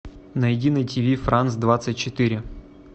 найди на тв франс двадцать четыре